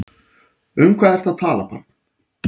Um hvað ertu að tala barn?